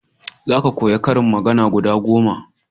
za ka koya ƙarin magana guda goma!